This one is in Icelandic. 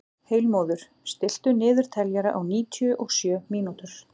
Heilmóður, stilltu niðurteljara á níutíu og sjö mínútur.